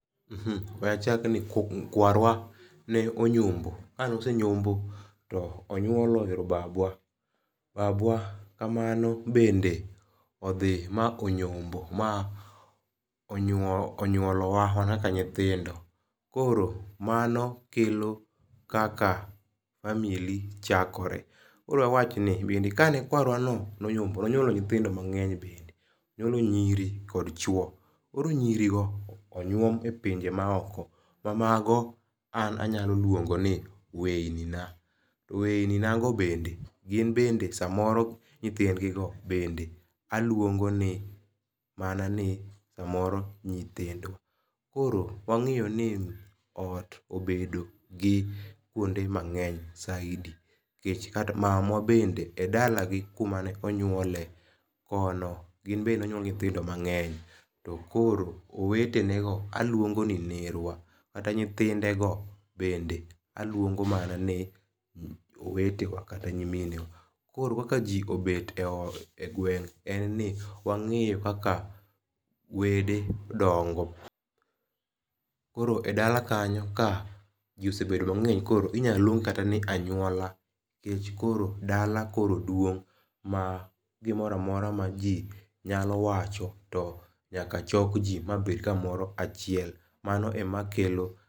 We achak ni kwarwa ne onyombo. Ka ne osenyombo to onyuolo babwa. Babwa kamano bende odhi ma onyombo ma onyuolo wa wan kaka nyithindo. Koro mano kelo kaka family chakore. Koro awach ni bende ka ne kwarwa no nonyombo nonyuolo nyithindo mang'eny bende. Koro nyiri kod chuo. Koro nyiri go onyuom e pinje ma oko. Ma mago an anyalo luongo ni weyni na. To weyni na go bende ginbende samoro nythindgigo bende aluongo ni mana ni samoro nyithindo. Koro wang'eyo ni ot obedo gi kuonde mang'eny saidi. Nikech mama wa bende e dalagi kumane onyuole, kono, gin bende nonyuolgi nyithindo mang'eny. To koro owetenego aluongo ni nerwa. Kata nyithinde go bende aluongo mana owetewa kata nyiminewa. Koro kaka ji obet e gweng' en ni wang'eyo kaka wede dongo. Koro e dala kanyo ka ji osebedo mang'eny inyaluong' kata ni anyuola nikech koro dala koro duong' ma gimoro amora ma ji nyalo wacho to nyaka chok ji mabet kamoro achiel. Mano e ma kelo.